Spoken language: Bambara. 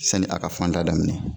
Sani a ka fanda daminɛ